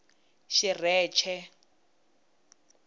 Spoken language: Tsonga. xirheche